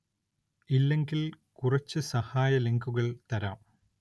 ഇല്ലെങ്കില്‍ കുറച്ച് സഹായ ലിങ്കുകള്‍ തരാം